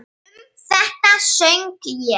Um þetta söng ég